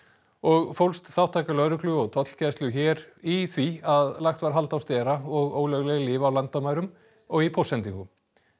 og fólst þátttaka lögreglu og tollgæslu hér í því að lagt var hald á stera og ólögleg lyf á landamærum og í póstsendingum